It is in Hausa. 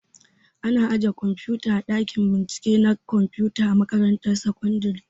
Ana ajiye kwamfuta a ɗakin bincike na kwamfuta a makaratun sakandare